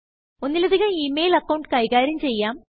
ഒന്നിലധികം email account കൈകാര്യം ചെയ്യാം